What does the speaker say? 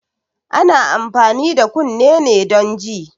Ana amfani da kunne ne don ji